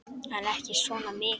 En ekki svona mikið.